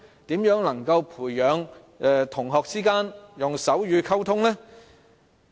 如何能培養同學間以手語溝通呢？